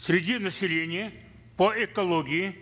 среди населения по экологии